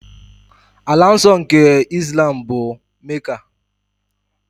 Ala nsọ nke Islam bụ Mecca.